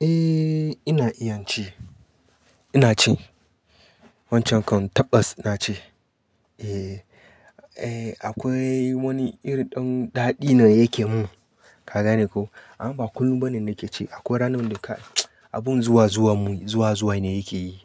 Eh ina iya ci. Ina ci. Wancan kan tabas na ci. Eh, eh akwai wani irin ɗan daɗi ne yake mun. Ka gane ko? Amma kullum bane na ke ci. Akwai ranan da ka-- abun zuwa zuwa mun, zuwa zuwa ne yake yi.